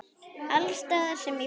Alls staðar sem ég fer.